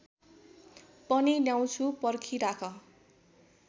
पनि ल्याउँछु पर्खिराख